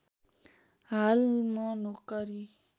हाल म नोकरी